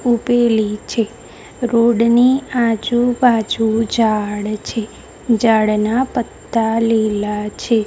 ઊભેલી છે રોડ ની આજુબાજુ ઝાડ છે ઝાડના પત્તા લીલા છે.